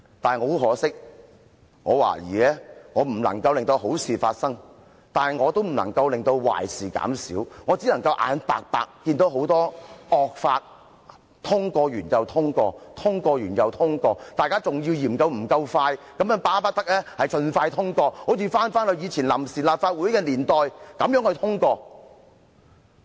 然而，很可惜，我懷疑我既不能令好事發生，也不能令壞事減少，我只能眼白白地看到很多惡法逐一通過，通過一項後又通過另一項，大家更嫌通過得不夠快，巴不得盡快通過，好像昔日臨時立法會的年代般通過。